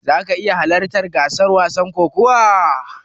Zaka iya halartar gasar wasan kokawar?